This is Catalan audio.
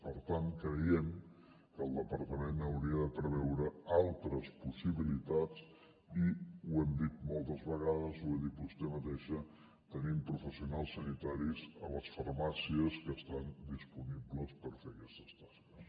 per tant creiem que el departament hauria de preveure altres possibilitats i ho hem dit moltes vegades ho ha dit vostè mateixa tenim professionals sanitaris a les farmàcies que estan disponibles per fer aquestes tasques